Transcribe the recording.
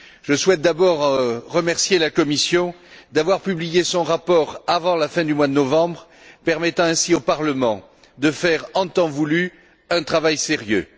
Je souhaite d'abord remercier la Commission d'avoir publié son rapport avant la fin du mois de novembre, permettant ainsi au Parlement de faire, en temps voulu, un travail sérieux.